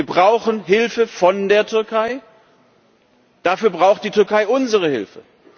Wir brauchen Hilfe von der Türkei, dafür braucht die Türkei unsere Hilfe.